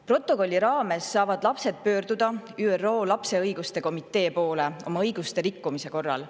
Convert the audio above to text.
Protokolli lapsed saavad oma õiguste rikkumise korral pöörduda ÜRO lapse õiguste komitee poole.